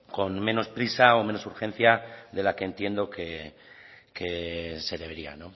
con menos prisa o menor urgencia de la que entiendo se debería